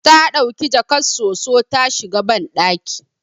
Ta dauki jakar soso ta shiga bandaki